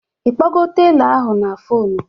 Ịkpọgo telọ ahụ na foonu?